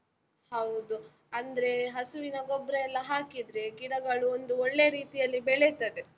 ಹೌದು, ಅಂದ್ರೇ ಹಸುವಿನ ಗೊಬ್ರ ಎಲ್ಲ ಹಾಕಿದ್ರೆ, ಗಿಡಗಳು ಒಂದು ಒಳ್ಳೇ ರೀತಿಯಲ್ಲಿ ಬೆಳೆತದೆ.